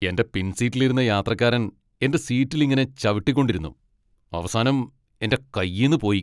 എൻ്റെ പിൻസീറ്റിലിരുന്ന യാത്രക്കാരൻ എൻ്റെ സീറ്റിൽ ഇങ്ങനെ ചവിട്ടിക്കൊണ്ടിരിടുന്നു, അവസാനം എൻ്റെ കയ്യീന്ന് പോയി.